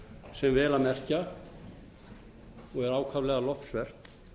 sem vel að merkja og er ákaflega lofsvert